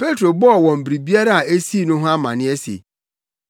Petro bɔɔ wɔn biribiara a esii no ho amanneɛ se,